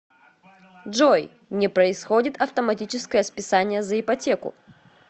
джой не происходит автоматическое списание за ипотеку